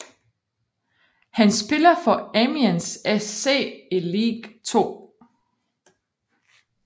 Han spiller for Amiens SC i Ligue 2